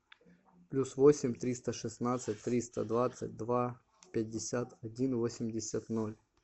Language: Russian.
плюс восемь триста шестнадцать триста двадцать два пятьдесят один восемьдесят ноль